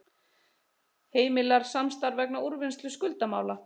Heimilar samstarf vegna úrvinnslu skuldamála